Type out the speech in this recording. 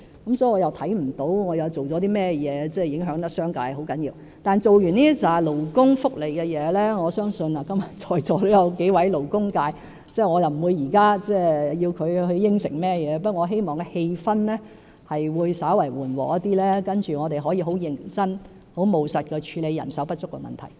所以，我看不到我做了甚麼對商界造成嚴重影響，但在完成這些勞工福利的工作後，我相信今天在座也有幾位勞工界議員，我不會現在要求他們答應甚麼，但我希望氣氛會稍為緩和，讓我們可以很認真和務實地處理人手不足的問題。